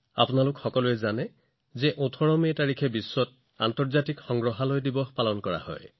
আপোনালোক সকলোৱে জানে যে ১৮ মেত সমগ্ৰ বিশ্বতে আন্তৰ্জাতিক সংগ্ৰহালয় দিৱস উদযাপন কৰা হব